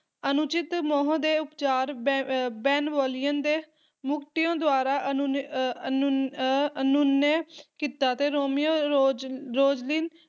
ਅਣਉਚਿਤ ਮੋਹ ਦੇ ਉਪਚਾਰ ਬੈ ਅਹ ਬੇਨਵੋਲੀਓਨ ਦੇ ਮਰਕੁਟੀਓ ਦੁਆਰਾ ਅਨੂਨੀ ਅਹ ਅਨੁਨੇ ਕੀਤਾ ਤੇ ਰੋਮੀਓ ਰੋਜਰੋਸਲਿਨ